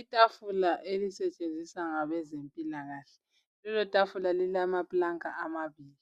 Itafula elisetshenziswa ngabezempilakahle lelotafula lilamaplanka amabili